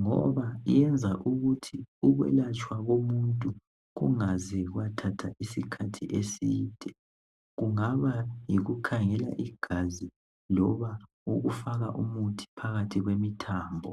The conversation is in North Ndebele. ngoba yenza ukuthi ukwelatshwa komuntu kungaze kwathatha isikhathi eside. Kungaba yikukhangela igazi, loba ukufaka umuthi phakathi kwemithambo.